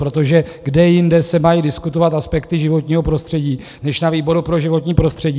Protože kde jinde se mají diskutovat aspekty životního prostředí než na výboru pro životní prostředí?